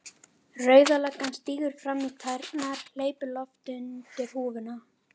Rauða löggan stígur fram í tærnar, hleypir lofti undir húfuna.